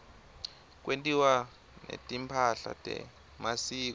kwentiwa netimpahla temasiko